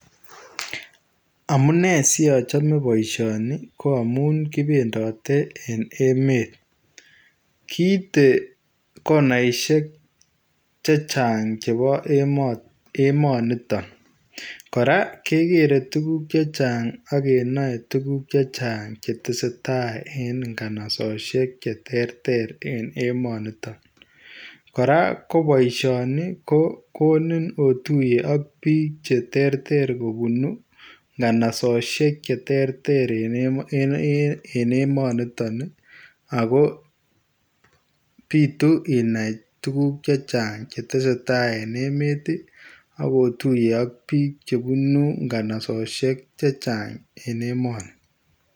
Amunei siachamei boisioni ko amuun kibendatee en emeet kiite konaishek chechaang chebo emanii nitoon kora kegere tuguuk chechaang age nae tuguuk chechaang che tesetai en nganasosiek che terter en emanii nitoon kora ko boisioni ko koniin otuyee ak biik ii kobuun nganasosiek che terter en emanii nitoon ii ago bituu inai tuguuk chechaang che tesetai en emet ii ago otuye ak biik chebunuu nganasosiek che chaang emani.